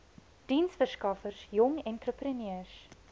diensverskaffers jong entrepreneurs